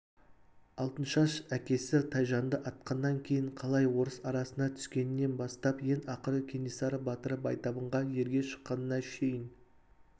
алтыншаш әкесі тайжанды атқаннан кейін қалай орыс арасына түскенінен бастап ең ақыры кенесары батыры байтабынға ерге шыққанына шейін